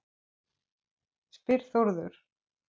spyr Þórður